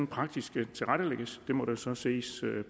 praktisk tilrettelægges må der så ses